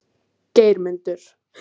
Geirmundur